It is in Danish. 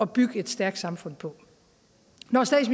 bygge et stærkt samfund på